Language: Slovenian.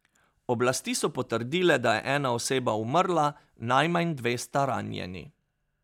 Oblasti so potrdile, da je ena oseba umrla, najmanj dve sta ranjeni.